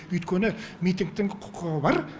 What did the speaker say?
өйткені митингтің құқығы бар